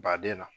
Baden na